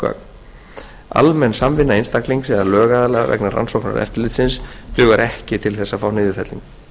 gögn almenn samvinna einstaklings eða lögaðila vegna rannsóknar eftirlitsins dugar ekki til þess að fá niðurfellingu